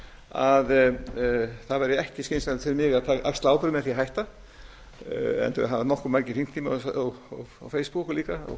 að það væri ekki skynsamlegt fyrir mig að axla ábyrgð með því að hætta enda hafa nokkuð margir hringt í mig og á facebook líka